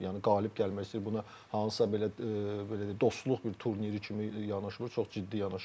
Yəni qalib gəlmək istəyir, buna hansısa belə belə deyək, dostluq bir turniri kimi yanaşmır, çox ciddi yanaşır.